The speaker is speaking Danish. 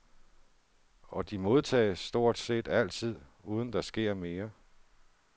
Og de modtages stort set altid, uden at der sker mere.